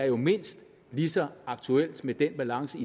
jo mindst lige så aktuelt med den balance